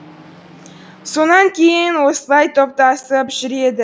сонан кейін осылай топтасып жүреді